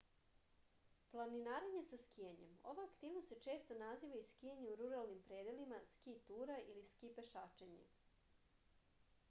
planinarenje sa skijanjem ova aktivnost se često naziva i skijanje u ruralnim predelima ski tura ili ski pešačenje